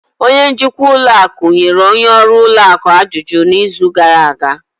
Onye njikwa ụlọ akụ nyere onye ọrụ ụlọ akụ ajụjụ n'izu gara aga